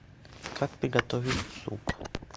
как приготовить суп